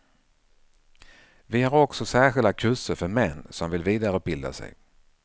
Vi har också särskilda kurser för män som vill vidareutbilda sig.